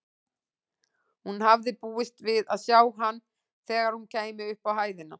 Hún hafði búist við að sjá hann þegar hún kæmi upp á hæðina.